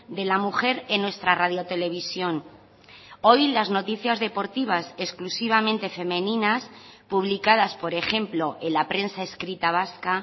de la mujer en nuestra radio televisión hoy las noticias deportivas exclusivamente femeninas publicadas por ejemplo en la prensa escrita vasca